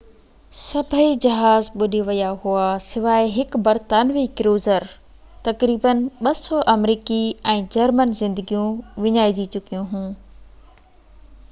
سڀئي جهاز ٻُڏي ويا هئا سواءِ هڪ برطانوي ڪروزر تقريباً 200 آمريڪي ۽ جرمن زندگيون وڃائجي چڪيون هيون